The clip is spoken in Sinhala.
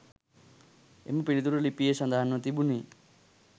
එම පිළිතුර ලිපියේ සඳහන්ව තිබුණේ